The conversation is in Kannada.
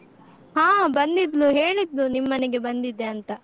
ಹಾ ಬಂದಿದ್ಲು, ಹೇಳಿದ್ಲು ನಿಮ್ಮನೆಗೆ ಬಂದಿದ್ದೆ ಅಂತ.